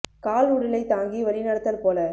கால்உடலைத் தாங்கிவழி நடத்தல் போல